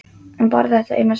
En bara þetta eina sinn.